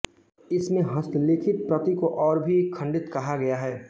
इसमें हस्तलिखित प्रति को और भी खंडित कहा गया है